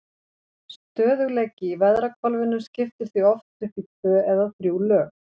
Stöðugleiki í veðrahvolfinu skiptir því oft upp í tvö eða þrjú lög.